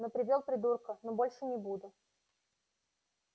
ну привёл придурка ну больше не буду